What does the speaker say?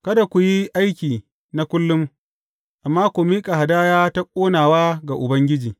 Kada ku yi aiki na kullum, amma ku miƙa hadaya ta ƙonawa ga Ubangiji.’